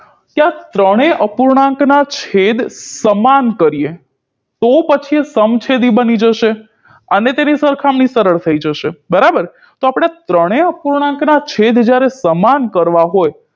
ત્રણેય અપૂર્ણાંકના છેદ સમાન કરીએ તો પછી સમછેદી બની જશે અને તેની સરખામણી સરળ થઈ જશે બરાબર તો આપણે ત્રણેય અપૂર્ણાંકના છેદ જ્યારે સમાન કરવા હોય